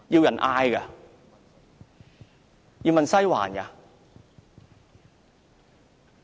要問"西環"嗎？